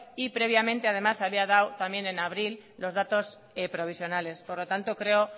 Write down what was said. y previamente además había dado también en abril los datos provisionales por lo tanto creo